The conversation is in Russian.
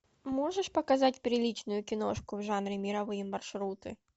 можешь показать приличную киношку в жанре мировые маршруты